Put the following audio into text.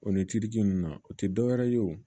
O ni ci nunnu na o ti dɔwɛrɛ ye o